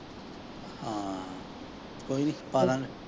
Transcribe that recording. ਹਾਂ ਕੋਈ ਨੀ ਪਾਦਾਂਗੇ।